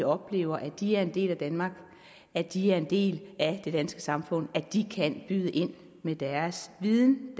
oplever at de er en del af danmark at de er en del af det danske samfund at de kan byde ind med deres viden